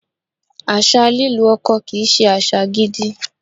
Àṣà lílu ọkọ kì í ṣe àṣà gidi.